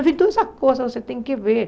Mas então essas coisas você tem que ver.